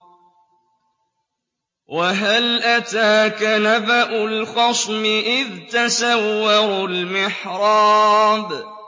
۞ وَهَلْ أَتَاكَ نَبَأُ الْخَصْمِ إِذْ تَسَوَّرُوا الْمِحْرَابَ